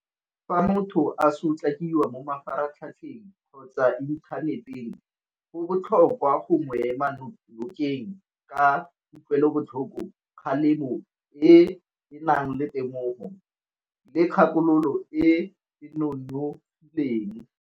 Fa motho a sotlakiwa mo mafaratlhatlheng kgotsa inthaneteng go botlhokwa go mo ema nokeng ka kutlwelobotlhoko, kgalemo e e nang le temogo le kgakololo e e nonofileng.